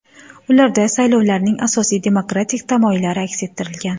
Ularda saylovlarning asosiy demokratik tamoyillari aks ettirilgan.